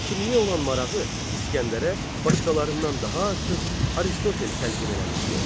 Həkimliyə olan marağı İsgəndərə başqalarından daha artıq Aristotel təlqin eləmişdi.